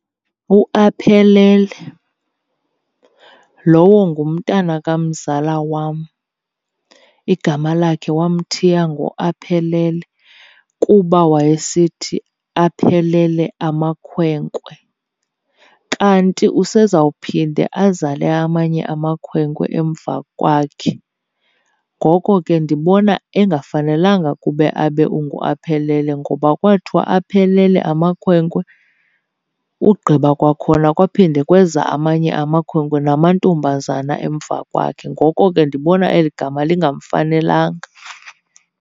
UAphelele, lowo ngumntana kamzala wam. Igama lakhe wamthiya ngoAphelele kuba wayesithi aphelele amakhwenkwe, kanti usezawuphinde azale amanye amakhwenkwe emva kwakhe. Ngoko ke ndibona engafanelanga kube abe unguAphelele, ngoba kwathiwa aphelele amakhwenkwe ugqiba kwakhona kwaphinde kweza amanye amakhwenkwe namantombazana emva kwakhe. Ngoko ke ndibona eli gama lingamfanelanga.